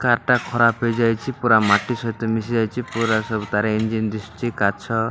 Car ଟା ଖରାପ୍ ହେଇଯାଇଚି। ପୁରା ମାଟି ସହିତ ମିଶି ଯାଇଚି। ପୁରା ସବୁ ତାର ଇଞ୍ଜିନ ଦିଶୁଚି। କାଚ --